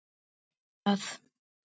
Gerðu það: